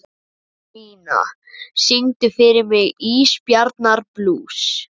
Anína, syngdu fyrir mig „Ísbjarnarblús“.